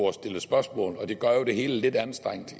at stille spørgsmål og det gør jo det hele lidt anstrengt